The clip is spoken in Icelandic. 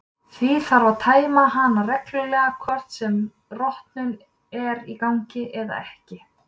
Því þarf að tæma hana reglulega hvort sem rotnun er í gangi eða ekki.